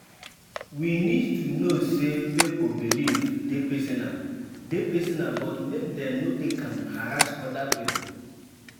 We need to know sey pipo beliefs dey personal dey personal but make dem no take am harass oda pipo